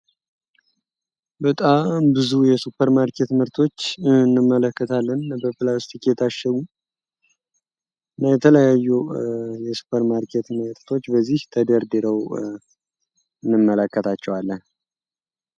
በጣም ብዙ የሱፐር ማርኬት ምርቶች እንመለከታለን። በፕላስቲክ የታሸጉ የተለያዩ የሱፐር ማርኬት ምርቶች በዚች ተደርድረው እንመለከታቸዋለን።